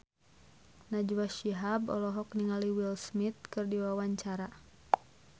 Najwa Shihab olohok ningali Will Smith keur diwawancara